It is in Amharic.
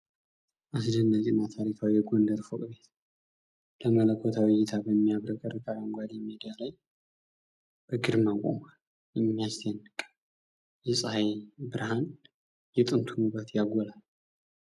አስደናቂ እና ታሪካዊ የጎንደር ፎቅ ቤት! ለመለኮታዊ እይታ በሚያብረቀርቅ አረንጓዴ ሜዳ ላይ በግርማ ቆሟል። የሚያስደንቅ የፀሐይ ብርሃን የጥንቱን ውበት ያጎላል።